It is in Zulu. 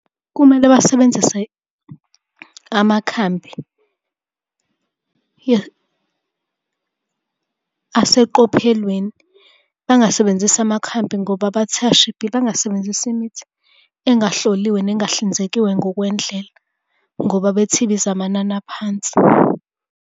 Kumele basebenzise amakhambi aseqophelweni. Bangasebenzisi amakhambi ngoba bathi ashibhile. Bangasebenzisi imithi engahloliwe nengahlinzekiwe ngokwendlela, ngoba bethi ibiza amanani aphansi.